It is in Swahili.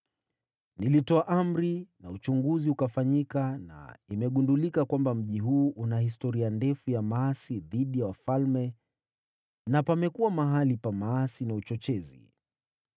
Nilitoa amri na uchunguzi ukafanyika na imegundulika kwamba mji huu una historia ndefu ya maasi dhidi ya wafalme na pamekuwa mahali pa maasi na uchochezi.